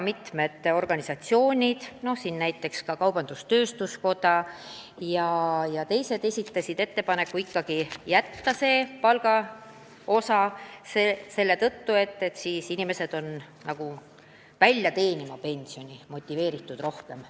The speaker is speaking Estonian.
Mitmed organisatsioonid, näiteks kaubandus-tööstuskoda ja teisedki, esitasid ettepaneku ikkagi arvestada ka palga suurust, sest siis on inimesed motiveeritud teenima suuremat palka, et saada ka suuremat pensionit.